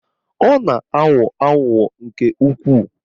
Ọ na-aghọ aghụghọ nke ukwuu